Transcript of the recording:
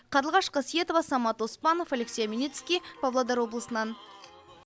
қарлығаш қасиетова самат оспанов алексей омельницкий павлодар облысынан